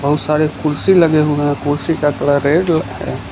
बहुत सारे कुर्सी लगे हुए है कुर्सी का कलर रेड ल --